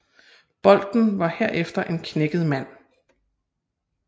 Bolten var herefter en knækket mand